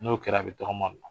N'o kɛra a bi tɔgɔma la.